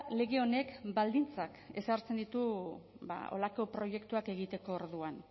lege honek baldintzak ezartzen ditu horrelako proiektuak egiteko orduan